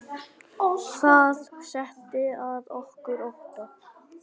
Það setti að okkur ótta.